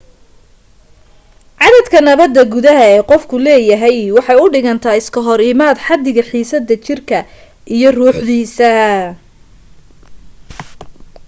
caddadka nabada gudaha ee qofku leeyahay waxay u dhigantaa iska hor imaad xaddiga xiisadda jirka iyo ruuxdiisa